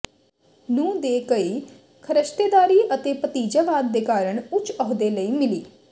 ਨੂੰ ਦੇ ਕਈ ਖਰਸ਼ਤੇਦਾਰੀ ਅਤੇ ਭਤੀਜਾਵਾਦ ਦੇ ਕਾਰਨ ਉੱਚ ਅਹੁਦੇ ਲਈ ਮਿਲੀ